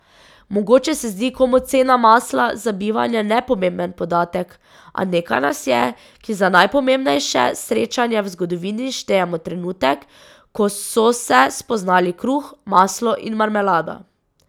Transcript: Mogoče se zdi komu cena masla za bivanje nepomemben podatek, a nekaj nas je, ki za najpomembnejše srečanje v zgodovini štejemo trenutek, ko so se spoznali kruh, maslo in marmelada.